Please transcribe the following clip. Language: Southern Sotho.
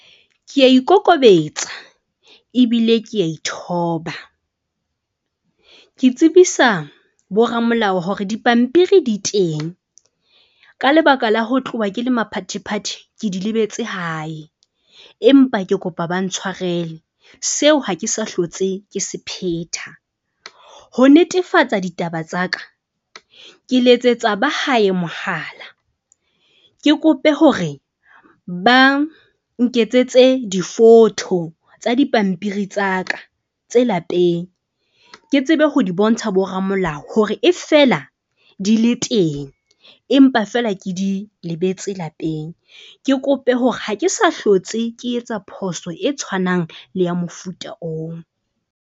Ke a ikokobetsa ebile ke a ithoba. Ke tsebisa boramolao hore dipampiri di teng ka lebaka la ho tloha ke le maphathephathe, ke di lebetse hae, empa ke kopa ba ntshwarele seo ha ke sa hlotse ke se sephetha, ho netefatsa ditaba tsa ka. Ke letsetsa ba hae mohala, ke kope hore ba nketsetse di-photo tsa dipampiri tsa ka tse lapeng. Ke tsebe ho di bontsha boramolao hore e feela di le teng, empa fela ke di lebetse lapeng. Ke kope hore ha ke sa hlotse, ke etsa phoso e tshwanang le ya mofuta oo.